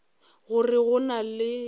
gore go na le yo